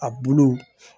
A bulu